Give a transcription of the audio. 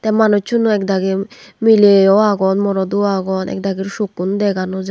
manusunow ekdagi miley ow aagon morot ow aagon ekdagir sokkun deganojai.